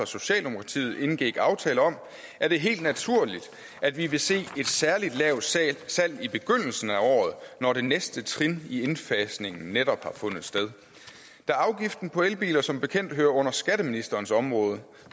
socialdemokratiet indgik aftale om er det helt naturligt at vi vil se et særlig lavt salg i begyndelsen af året når det næste trin i indfasningen netop har fundet sted da afgiften på elbiler som bekendt hører under skatteministerens område